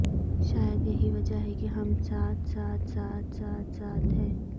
شاید یہی وجہ ہے کہ ہم ساتھ ساتھ ساتھ ساتھ ساتھ ہیں